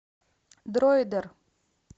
дроидер